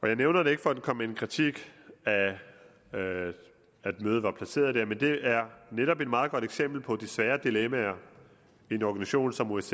jeg nævner det ikke for at komme med kritik af at mødet var placeret der men det er netop et meget godt eksempel på de svære dilemmaer en organisation som osce